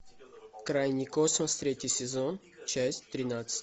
крайний космос третий сезон часть тринадцать